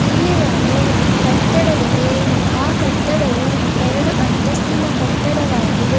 ಇಲ್ಲಿ ಒಂದು ಕಟ್ಟಡ ಇದೆ ಆ ಕಟ್ಟಡವು ಎರಡು ಅಂತಸ್ತಿನ ಕಟ್ಟಡವಾಗಿದೆ.